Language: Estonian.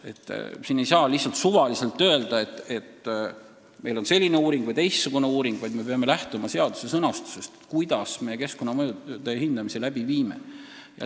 Ei saa lihtsalt suvaliselt öelda, et meil on tehtud selline uuring või teistsugune uuring, me peame lähtuma seadusest, kui keskkonnamõjude hindamisi läbi viime.